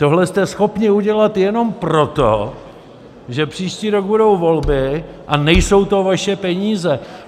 Tohle jste schopni udělat jenom proto, že příští rok budou volby a nejsou to vaše peníze.